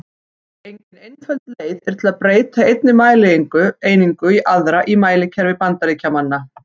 Engin einföld leið er að breyta einni mælieiningu í aðra í mælikerfi Bandaríkjamanna.